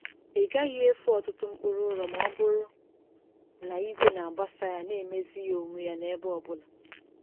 Ị gaghị efu ọtụtụ mkpụrụ ụrọ ma ọ bụrụ na igwe na-agbasa ya na-emezi ya onwe ya n’ebe ọ bụla.